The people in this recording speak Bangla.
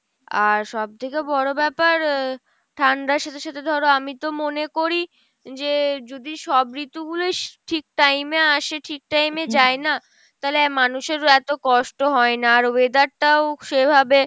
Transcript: আর সবথেকে বড় ব্যাপার আহ ঠান্ডার সাথে সাথে ধরো আমি তো মনে করি যে যদি সব ঋতু গুলোই ঠিক time এ আসে ঠিক time এ যায় না তালে মানুষের এতো কষ্ট হয়না, আর weather টাও সেভাবে